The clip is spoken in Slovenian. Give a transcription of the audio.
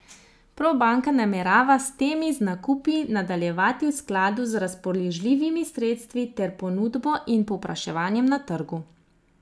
Probanka namerava s temi z nakupi nadaljevati v skladu z razpoložljivimi sredstvi ter ponudbo in povpraševanjem na trgu.